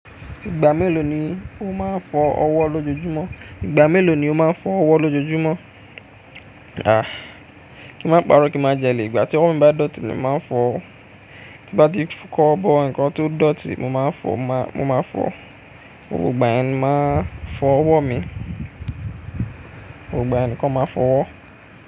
Ìgbà mélòó ni o máa ń fọ ọwọ́ lójoojúmọ́? À, kí máa paro kí má jẹ lè, ìgbà tí ọwọ mi bá dọ̀tí ni màá ń fọ, tí bá ti kọ́wobọ̀, ǹkan tó dọ̀tí mo máa ń fọ, mo máa fọ, gbogbo ìgbà ẹ̀ ni màá fọ ọwọ́ mi, gbogbo ìgbà ẹ̀ nǹkan mo máa n fọ ọwọ́